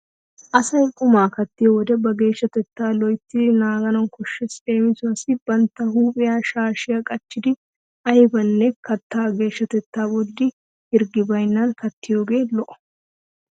Asay qumaa kattiyo wode ba geeshshatettaa loyttidi naagana koshshees. Leemiwassi bantta huuphiya shaashiyan qacidi aybanne kattaa geeshshatetta bolli hirggi baynnan kattiyogee lo'o.